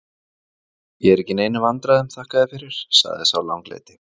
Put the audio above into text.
Ég er ekki í neinum vandræðum, þakka þér fyrir, sagði sá langleiti.